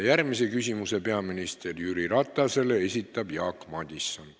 Järgmise küsimuse peaminister Jüri Ratasele esitab Jaak Madison.